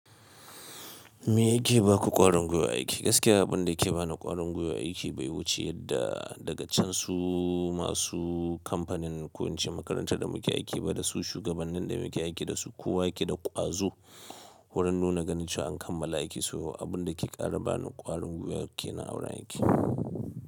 Me yake ba ku ƙwarin goyo aiki? Gaskiya abun da yake ba ni ƙwarin guiwa aiki bai wuce yadda daga can su masu kamfanin ko ince makaranta da muke aiki ba da su shugabannin da muke aiki da su. Kowa yake da ƙwazo wurin nuna ganin cewa an kammala aiki, so abun da ke ƙara bani ƙwarin goyo aiki na auren aiki.